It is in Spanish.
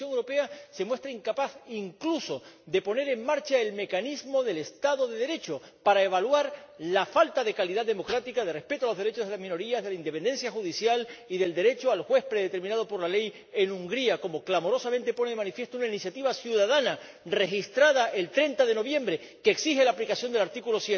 Y la Comisión Europea se muestra incapaz incluso de poner en marcha el mecanismo del Estado de Derecho para evaluar la falta de calidad democrática, de respeto de los derechos de las minorías, de la independencia judicial y del derecho al juez predeterminado por la ley en Hungría, como clamorosamente pone de manifiesto una iniciativa ciudadana registrada el 30 de noviembre que exige la aplicación del artículo